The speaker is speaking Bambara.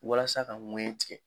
Walasa ka ŋɛɲɛ tigɛ.